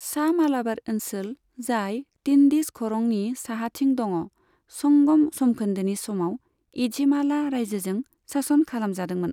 सा मालाबार ओनसोल, जाय टिन्डिस खरंनि साहाथिं दङ, संगम समखोन्दोनि समाव एझिमाला रायजोजों सासन खालामजादोंमोन।